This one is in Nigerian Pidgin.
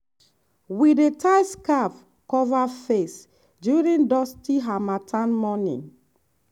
we dey tie scarf cover face during dusty harmattan morning.